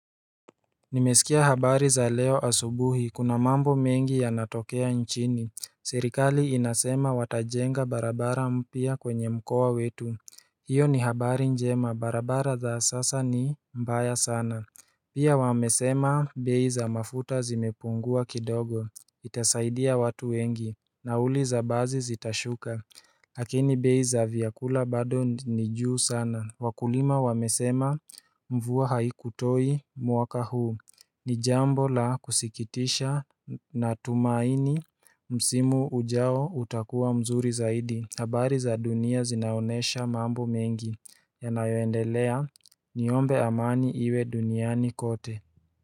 Nimesikia habari za leo asubuhi kuna mambo mengi ya natokea nchini Serikali inasema watajenga barabara mpya kwenye mkoa wetu hiyo ni habari njema barabara za sasa ni mbaya sana Pia wamesema beiza mafuta zimepungua kidogo Itasaidia watu wengi Nauli za bazi zitashuka Hakini beiza vyakula bado nijuu sana Wakulima wamesema mvua hai kutoi mwaka huu Nijambo la kusikitisha na tumaini msimu ujao utakuwa mzuri zaidi habari za dunia zinaonesha mambo mengi ya nayoendelea niombe amani iwe duniani kote.